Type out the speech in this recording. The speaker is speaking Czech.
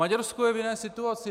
Maďarsko je v jiné situaci.